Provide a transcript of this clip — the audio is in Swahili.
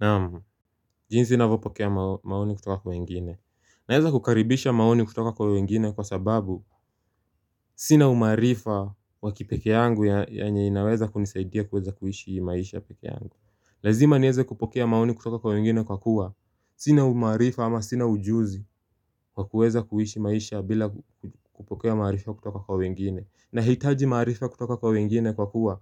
Naamu, jinsi ninavyopokea maoni kutoka kwa wengine. Naeza kukaribisha maoni kutoka kwa wengine kwa sababu Sina umaarifa wakipeke yangu yenye inaweza kunisaidia kuweza kuishi maisha peke yangu. Lazima niweze kupokea maoni kutoka kwa wengine kwa kuwa. Sina umaarifa ama sina ujuzi wa kuweza kuishi maisha bila kupokea maarifa kutoka kwa wengine. Nahitaji maarifa kutoka kwa wengine kwa kuwa.